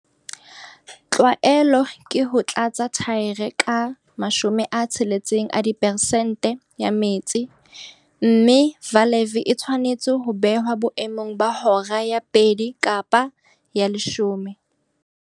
Tlwaelo ke ho tlatsa thaere ka 60 a diperesente ya metsi, mme valve e tshwanetse ho behwa boemong ba hora ya 2 kapa ya 10.